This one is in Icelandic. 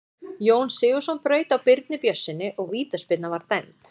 Jón Sigurðsson braut á Birni Björnssyni og vítaspyrna var dæmd.